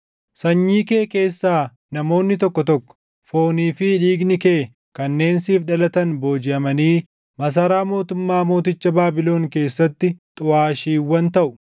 Sanyii kee keessaa namoonni tokko tokko, foonii fi dhiigni kee kanneen siif dhalatan boojiʼamanii masaraa mootummaa mooticha Baabilon keessatti xuʼaashiiwwan taʼu.”